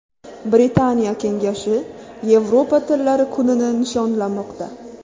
Britaniya kengashi Yevropa tillari kunini nishonlamoqda.